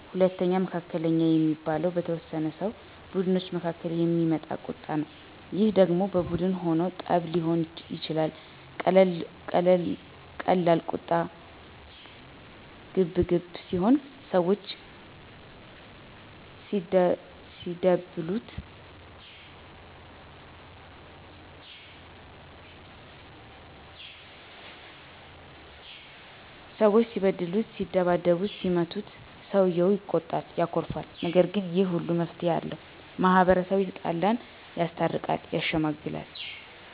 ሁለተኛው መካከለኛ የሚባለው በተወሰኑ ሰው ቡድኖች መካከል የሚመጣ ቀጣ ነው ይህ ደሞ በቡን ሁኖ ጠብ ሊሆን ይችላል ቀላል ቁጣ ቀገለሰብ ሲሆን ሰወች ሲበድሉት ሲሰድቡትና ሲመቱት ሰውየው ይቆጣል ያኮርፋል። ነገር ግን ይህ ሁሉ መፍትሄ አለው። ማህበረሰቡ የተጣላን ያስታርቃል። ያሸመግላል